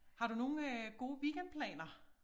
Har du nogen øh gode weekendplaner?